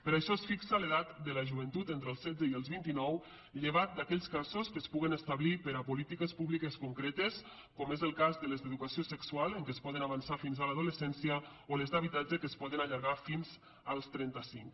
per això es fixa l’edat de la joventut entre els setze i els vint i nou llevat d’aquells casos que es puguen establir per a polítiques públiques concretes com és el cas de les d’educació sexual en què es poden avançar fins a l’adolescència o les d’habitatge que es poden allargar fins als trenta cinc